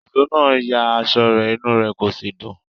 Ìṣó náà ya aṣọ rẹ̀, inú rẹ̀ kò sì dùn.